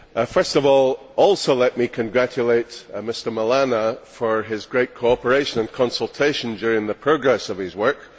First of all, let me too congratulate Mr Milana for his great cooperation and consultation during the progress of his work.